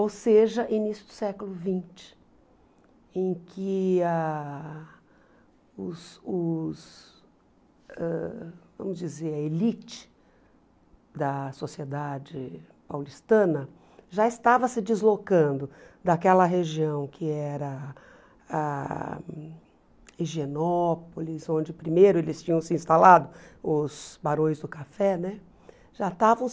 Ou seja, início do século vinte, em que ah os os ãh vamos dizer a elite da sociedade paulistana já estava se deslocando daquela região que era a Higienópolis, onde primeiro eles tinham se instalado, os barões do café né, já estavam